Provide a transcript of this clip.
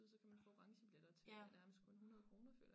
Men så kan man få orangebiletter til ja nærmest kun 100kr føler jeg